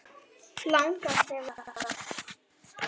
Langar ekki að vera það.